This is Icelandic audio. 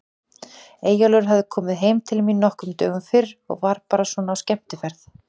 Eyjólfur hafði komið heim til mín nokkrum dögum fyrr og var bara svona á skemmtiferð.